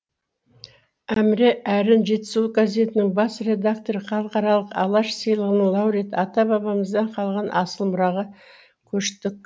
әмре әрін жетісу газетінің бас редакторы халықаралық алаш сыйлығының лауреаты ата бабамыздан қалған асыл мұраға көштік